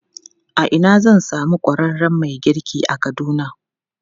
A ina zan samu ƙwararren mai girki a Kaduna?